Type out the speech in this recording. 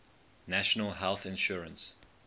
national health insurance